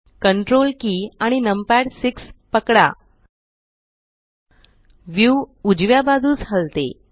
Ctrl key आणि numpad 6 पकडा view उजव्या बाजूस हलते